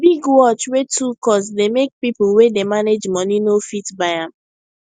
big watch wey too cost dey make people wey dey manage money no fit buy am